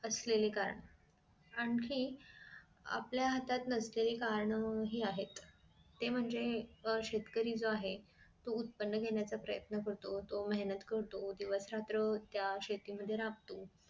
असलेले कारण आणखी आपल्या हातात नसलेली कारण हि आहेत ते म्हणजे शेतकरी जो आहे तो उत्पन्न घेण्याचा प्रयत्न करतो तो मेहनत करतो दिवस रात्र त्या शेती मध्ये राबतो